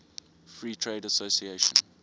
free trade association